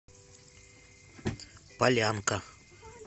полянка